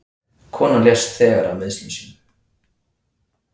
Konan lést þegar af meiðslum sínum